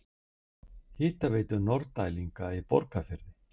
Hitaveitu Norðdælinga í Borgarfirði.